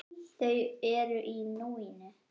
Þau eru í núinu.